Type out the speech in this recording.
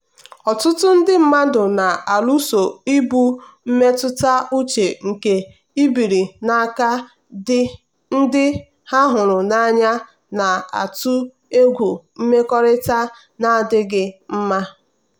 ọtụtụ ndị mmadụ na-alụso ibu mmetụta uche nke ibiri n'aka ndị ha hụrụ n'anya na-atụ egwu mmekọrịta na-adịghị mma.